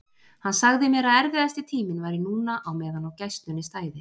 Hann sagði mér að erfiðasti tíminn væri núna á meðan á gæslunni stæði.